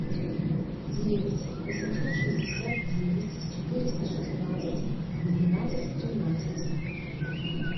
девять восемьсот шестьдесят девять четыреста шестнадцать двенадцать тринадцать